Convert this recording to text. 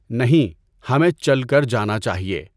نہیں، ہمیں چل کر جانا چاہیے۔